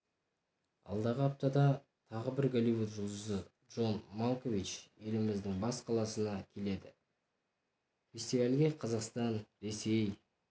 алдағы аптада тағы бір голливуд жұлдызы джон малкович еліміздің бас қаласына келеді фестивальге қазақстан ресей